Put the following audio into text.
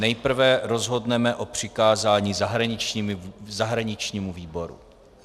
Nejprve rozhodneme o přikázání zahraničnímu výboru.